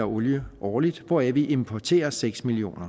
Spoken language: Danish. olie årligt hvoraf vi importerer seks million